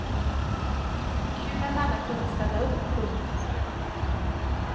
Kul att alla kunde ställa upp. punkt